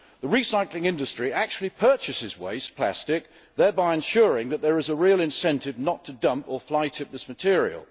The recycling industry actually purchases waste plastic, thereby ensuring that there is a real incentive not to dump or fly tip this material.